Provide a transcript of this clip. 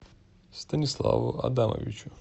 станиславу адамовичу